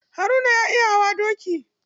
Haruna ya iya hawa doki.